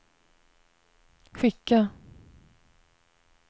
skicka